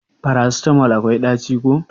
Farasitamol akwai daci ko?